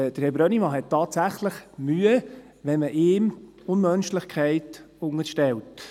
Herr Brönnimann hat tatsächliche Mühe, wenn man ihm Unmenschlichkeit unterstellt.